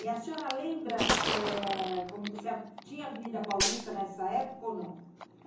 E a senhora lembra é... se tinha Avenida Paulista nessa época ou não?